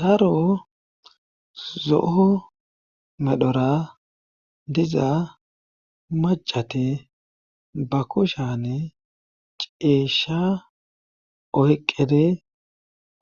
daro zo7o medhora diza macate ba kushane ceeshsha oyqqede